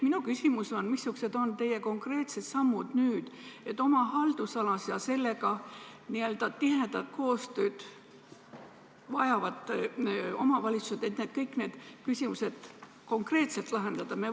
Minu küsimus on järgmine: missugused on teie konkreetsed sammud, et oma haldusalas ja sellega n-ö tihedat koostööd vajavates omavalitsustes kõik need küsimused konkreetselt lahendada?